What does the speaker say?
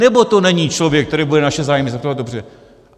Nebo to není člověk, který bude naše zájmy zastupovat dobře?